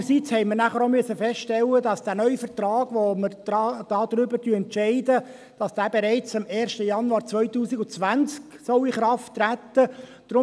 Andererseits mussten wir nachher auch feststellen, dass der neue Vertrag, über den wir entscheiden, bereits am 1. Januar 2020 in Kraft treten soll.